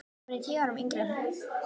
Hún er tíu árum yngri en